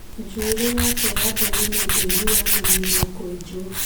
Njũĩrĩ yake ya nderu nĩ ndaihu, yagĩrĩirwo kũenjwo